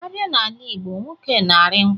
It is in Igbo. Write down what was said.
A bịa n'ala igbo, nwoke na-arị nkwụ.